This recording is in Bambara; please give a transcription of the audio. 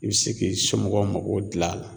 I bɛ se k'i somɔgɔw mago dilan a la